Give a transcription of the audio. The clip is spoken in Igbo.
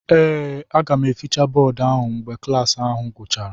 Ee, aga m efechi bọọdụ ahụ mgbe klas ahụ gachara.